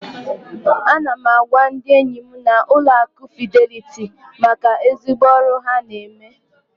Ana m agwa ndị enyim na Ụlọ akụ Fidelity maka ezigbo ọrụ ha na eme.